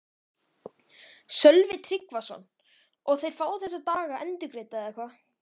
Sölvi Tryggvason: Og þeir fá þessa daga endurgreidda eða hvað?